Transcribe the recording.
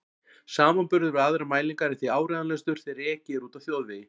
Samanburður við aðrar mælingar er því áreiðanlegastur þegar ekið er úti á þjóðvegi.